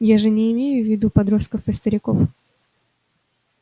я же не имею в виду подростков и стариков